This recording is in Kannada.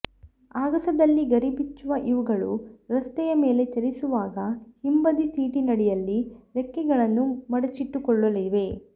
ಆಗಸದಲ್ಲಿ ಗರಿಬಿಚ್ಚುವ ಇವುಗಳು ರಸ್ತೆಯ ಮೇಲೆ ಚಲಿಸುವಾಗ ಹಿಂಬದಿ ಸೀಟಿನಡಿಯಲ್ಲಿ ರೆಕ್ಕೆಗಳನ್ನು ಮಡಚಿಟ್ಟುಕೊಳ್ಳಲಿವೆ